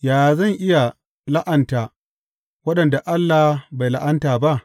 Yaya zan iya la’anta waɗanda Allah bai la’anta ba?